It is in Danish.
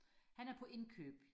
han er på indkøb